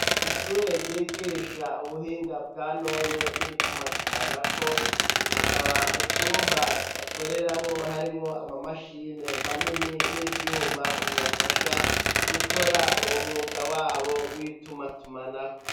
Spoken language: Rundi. Ishure ryigisha ubuhinga bwa none n'itumatumanako hakaba mu cumba bakoreramwo harimwo amamashini manini n'ivyuma bibafasha gukora uwo mwuga wabo w'itumatumanako.